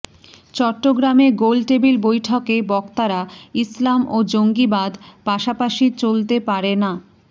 চট্টগ্রামে গোলটেবিল বৈঠকে বক্তারা ইসলাম ও জঙ্গিবাদ পাশাপাশি চলতে পারে না